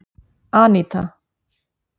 Anita